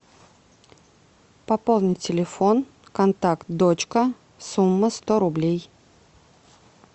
пополнить телефон контакт дочка сумма сто рублей